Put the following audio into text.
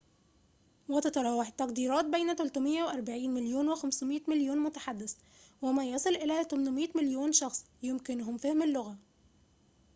وتتراوح التقديرات بين 340 مليون و500 مليون متحدث وما يصل إلى 800 مليون شخص يمكنهم فهم اللغة